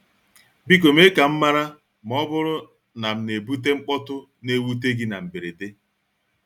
Biko mee ka m mara ma ọ bụrụ na m na-ebute mkpọtụ na-ewute gị na mberede.